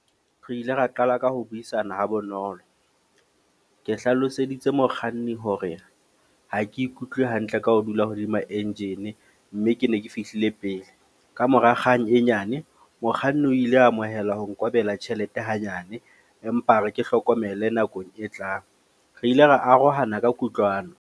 Re ile ra qala ka ho buisana ha bonolo. Ke hlaloseditse mokganni hore ha ke ikutlwe hantle ka ho dula hodima engine. Mme ke ne ke fihlile pele. Kamora kgang e nyane, mokganni o ile amohela ho nkobela tjhelete hanyane. Empa a re ke hlokomele nakong e tlang. Re ile ra arohana ka kutlwano.